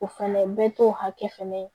O fɛnɛ bɛɛ t'o hakɛ fɛnɛ ye